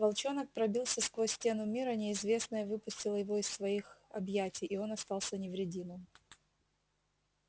волчонок пробился сквозь стену мира неизвестное выпустило его из своих объятий и он остался невредимым